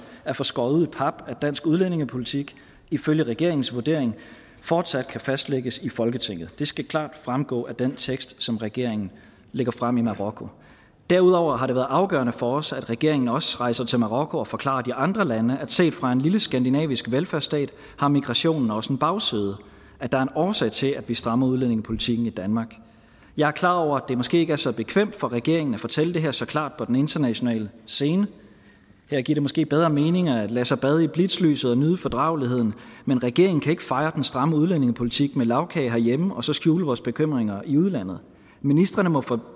at få skåret ud i pap at dansk udlændingepolitik ifølge regeringens vurdering fortsat kan fastlægges i folketinget det skal klart fremgå af den tekst som regeringen lægger frem i marokko derudover har det været afgørende for os at regeringen også rejser til marokko og forklarer de andre lande at set fra en lille skandinavisk velfærdsstat har migrationen også en bagside at der er en årsag til at vi strammer udlændingepolitikken i danmark jeg er klar over det måske ikke er så bekvemt for regeringen at fortælle det her så klart på den internationale scene her giver det måske bedre mening at lade sig bade i blitzlyset og nyde fordrageligheden men regeringen kan ikke fejre den stramme udlændingepolitik med lagkage herhjemme og så skjule vores bekymringer i udlandet ministrene må